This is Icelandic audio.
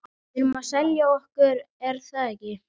Við erum að selja okkur, er það ekki?